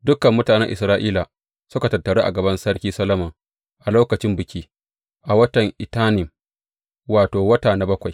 Dukan mutanen Isra’ila suka tattaru a gaban Sarki Solomon a lokacin biki, a watan Etanim, wato, wata na bakwai.